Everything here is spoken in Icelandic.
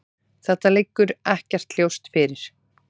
Þetta liggur ekkert ljóst fyrir.